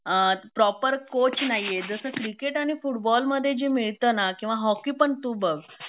अ proper coach नाहीए जस cricket आणि फुटबॉल मध्ये जे मिळत ना किंवा हॉकी पण तू बघ